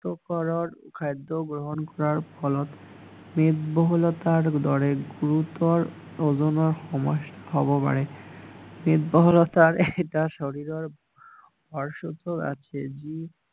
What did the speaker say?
স্বাস্থ্য কৰৰ খাদ্য গ্ৰহণ কৰাৰ ফলত মেড বহুলতাৰ দৰে ওজনৰ সম্যস্যা হব পাৰে মেড বহুলতা এটা শৰীৰৰ আছে যি